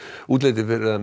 útlit er fyrir að